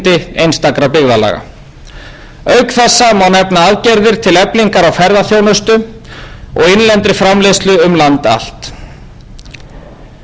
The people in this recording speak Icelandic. einstakra byggðalaga auk þessa má nefna aðgerðir til eflingar á ferðaþjónustu og innlendri framleiðslu um land allt góðir